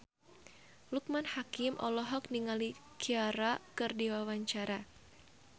Loekman Hakim olohok ningali Ciara keur diwawancara